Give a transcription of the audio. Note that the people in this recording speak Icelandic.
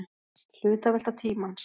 Hlutavelta tímans.